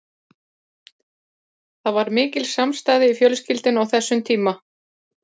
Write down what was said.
Það var mikil samstaða í fjölskyldunni á þessum tíma.